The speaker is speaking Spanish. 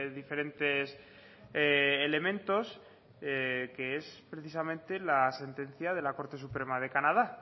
diferentes elementos que es precisamente la sentencia de la corte suprema de canadá